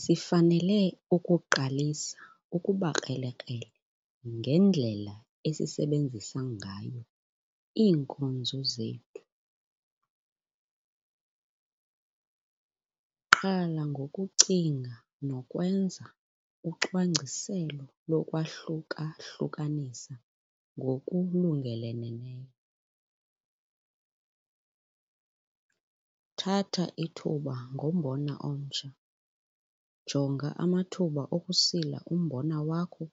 Sifanele ukuqalisa ukuba krelekrele ngendlela esisebenzisa ngayo iinkozo zethu. Qala ngokucinga nokwenza ucwangciselo lokwahluka-hlukanisa ngokulungeleleneyo. Thatha ithuba ngombona omtsha - jonga amathuba okusila umbona wakho